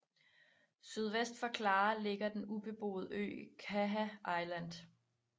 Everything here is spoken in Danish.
Sydvest for Clare ligger den ubeboede ø Caher Island